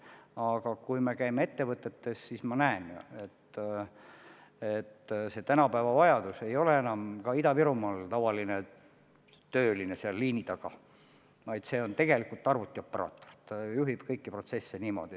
Aga kui me käime ettevõtetes, siis me näeme ju, et tänapäeval ei vajata enam ka Ida-Virumaal tavalisi töölisi liini taha, vaja on tegelikult arvutioperaatoreid, kes juhivad protsesse.